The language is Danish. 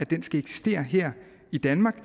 den skal eksistere her i danmark og